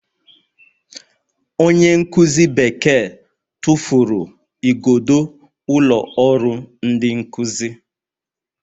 Onye nkuzi Bekee tụfuru igodo ụlọ ọrụ ndị nkuzi